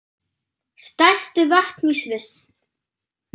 Stærstu vötn í Sviss